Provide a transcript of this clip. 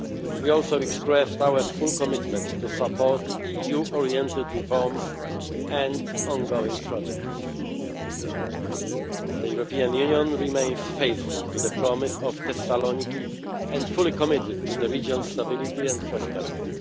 We also expressed our full commitment to support EU oriented reforms and ongoing projects. The European Union remains faithful to the promise of Thessaloniki and fully committed to the region's stability and prosperity.